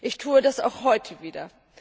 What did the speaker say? Ich tue das auch heute wieder.